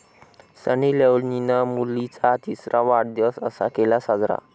सनी लिओनीनं मुलीचा तिसरा वाढदिवस असा केला साजरा